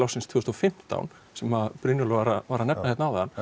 tvö þúsund og fimmtán sem Brynjólfur var að nefna áðan